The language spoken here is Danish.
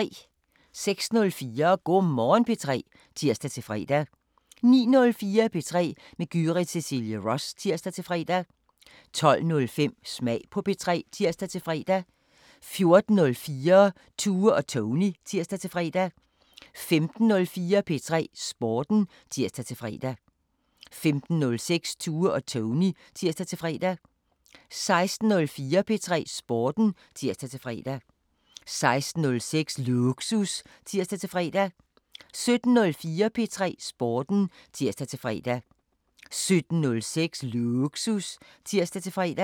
06:04: Go' Morgen P3 (tir-fre) 09:04: P3 med Gyrith Cecilie Ross (tir-fre) 12:05: Smag på P3 (tir-fre) 14:04: Tue og Tony (tir-fre) 15:04: P3 Sporten (tir-fre) 15:06: Tue og Tony (tir-fre) 16:04: P3 Sporten (tir-fre) 16:06: Lågsus (tir-fre) 17:04: P3 Sporten (tir-fre) 17:06: Lågsus (tir-fre)